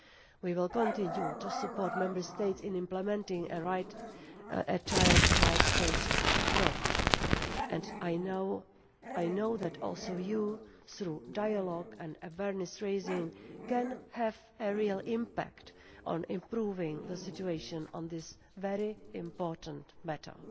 We will continue to support Member States in implementing a child rights-based approach and I know that you also, through dialogue and awareness raising, can have a real impact on improving the situation on this very important matter.